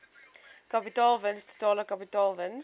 kapitaalwins totale kapitaalwins